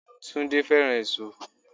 Túndé fẹ́ràn èso.